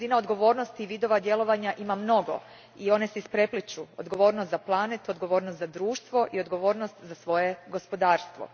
Razina odgovornosti vidova djelovanja ima mnogo i one se isprepliću odgovornost za planet, odgovornost za društvo i odgovornost za svoje gospodarstvo.